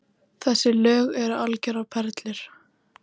Þessi lög eru algjörar perlur